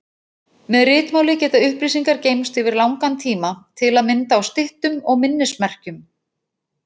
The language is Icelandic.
Með ritmáli geta upplýsingar geymst yfir langan tíma, til að mynda á styttum og minnismerkjum.